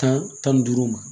Tan ni duuru ma